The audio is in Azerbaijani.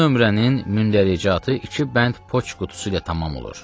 Bu nömrənin mündəricatı iki bənd poçt qutusu ilə tamam olur.